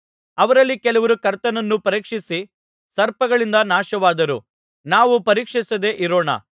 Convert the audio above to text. ಅವರಲ್ಲಿ ಕೆಲವರು ಕರ್ತನನ್ನು ಪರೀಕ್ಷಿಸಿ ಸರ್ಪಗಳಿಂದ ನಾಶವಾದರು ನಾವು ಪರೀಕ್ಷಿಸದೆ ಇರೋಣ